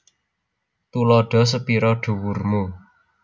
Tuladha sepira dhuwur mu